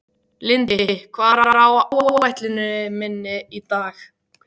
Lindi, hvað er á áætluninni minni í dag?